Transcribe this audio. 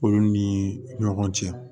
Olu ni ɲɔgɔn cɛ